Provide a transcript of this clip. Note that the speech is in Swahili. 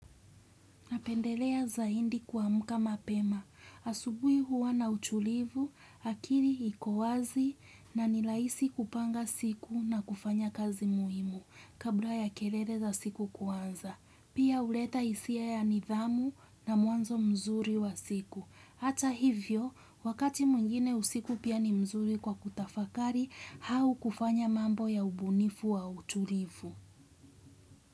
Napendelea zaindi kuamka mapema. Asubui huwa na utulivu, akiri iko wazi na nilaisi kupanga siku na kufanya kazi muhimu kabla ya kelele za siku kuanza. Pia huleta hisia ya nidhamu na mwanzo mzuri wa siku. Hata hivyo, wakati mwingine usiku pia ni mzuri kwa kutafakari, hau kufanya mambo ya ubunifu wa utulivu.